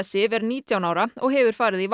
Sif er nítján ára og hefur farið í